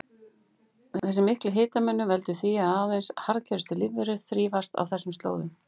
Þessi mikli hitamunur veldur því að aðeins harðgerustu lífverur þrífast á þessum slóðum.